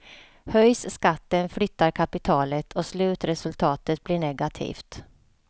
Höjs skatten flyttar kapitalet och slutresultatet blir negativt.